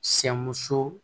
Sɛ muso